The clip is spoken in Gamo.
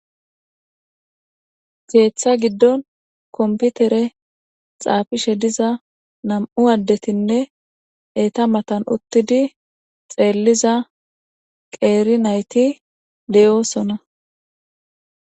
Geeththa giddon komputere xaafishe diza nam'u addetinne eeta matan uttidi xeelliza qeeri nayti deyoosona.